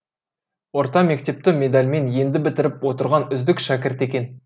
орта мектепті медальмен енді бітіріп отырған үздік шәкірт екен